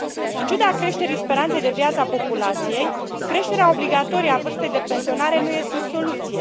În ciuda creșterii speranței de viață a populației, creșterea obligatorie a vârstei de pensionare nu este o soluție.